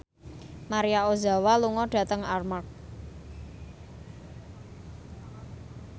Maria Ozawa lunga dhateng Armargh